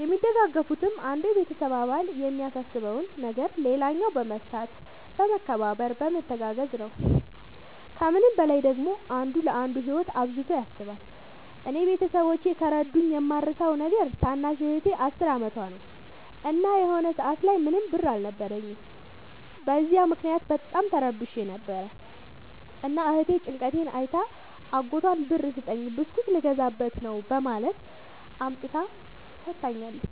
የሚደጋገፉትም አንዱ የቤተሰብ አባል የሚያሳስበውን ነገር ሌላኛው በመፍታት በመከባበር በመተጋገዝ ነው። ከምንም በላይ ደግሞ አንዱ ለአንዱ ህይወት አብዝቶ ያስባል። እኔ ቤተሠቦቼ ከረዱኝ የማረሣው ነገር ታናሽ እህቴ አስር አመቷ ነው። እና የሆነ ሰአት ላይ ምንም ብር አልነበረኝም። በዚያ ምክንያት በጣም ተረብሼ ነበር። እና እህቴ ጭንቀቴን አይታ አጎቷን ብር ስጠኝ ብስኩት ልገዛበት ነው በማለት አምጥታ ሠጥታኛለች።